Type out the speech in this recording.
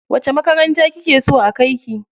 Wace makaranta kike so a kai ki?